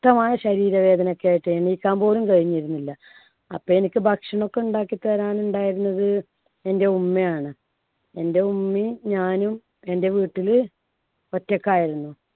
ക്തമായ ശരീര വേദനയൊക്കെ ആയിട്ട് എണീക്കാൻ പോലും കഴിഞ്ഞിരുന്നില്ല. അപ്പൊ എനിക്ക് ഭക്ഷണം ഒക്കെ ഉണ്ടാക്കിത്തരാൻ ഉണ്ടായിരുന്നത് എന്‍ടെ ഉമ്മയാണ്. എൻടെ ഉമ്മയും ഞാനും എൻടെ വീട്ടില് ഒറ്റയ്ക്കായിരുന്നു.